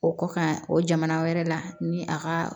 O kɔ kan o jamana wɛrɛ la ni a ka